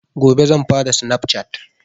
Gobe zan fara snaf cat